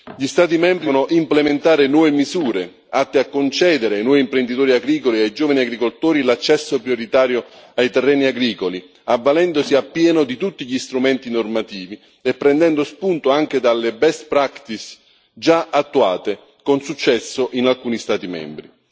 Gli Stati membri devono implementare nuove misure atte a concedere ai nuovi imprenditori agricoli e ai giovani agricoltori l'accesso prioritario ai terreni agricoli, avvalendosi appieno di tutti gli strumenti normativi e prendendo spunto anche dalle best practice già attuate con successo in alcuni Stati membri.